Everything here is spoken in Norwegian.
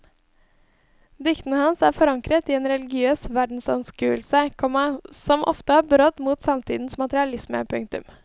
Diktene hans er forankret i en religiøs verdensanskuelse, komma som ofte har brodd mot samtidens materialisme. punktum